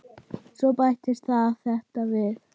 Svo bættist þetta við.